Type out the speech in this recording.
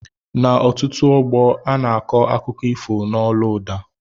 N' ọtụtụ ógbó ana akọ akụkọ ifo n' ólú ụda